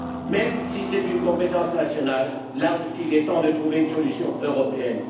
Même si c'est une compétence nationale, là aussi, il est temps de trouver une solution européenne.